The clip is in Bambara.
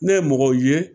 Ne ye mɔgɔw ye